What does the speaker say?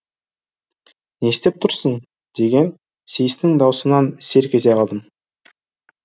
не істеп тұрсын деген сейістің даусынан селк ете қалдым